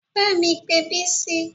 Bá mi pé Bisi